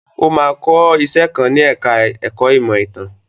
Ó máa kọ́ iṣẹ́ kan ní ẹ̀ka ẹ̀kó ìmọ̀ ìtàn.